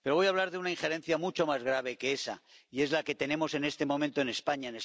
Pero voy a hablar de una injerencia mucho más grave que esa y es la que tenemos en este momento en España.